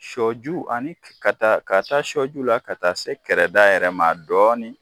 Sɔju ani ka taa k'a taa sɔ ju la ka taa se kɛrɛda yɛrɛ ma dɔɔnin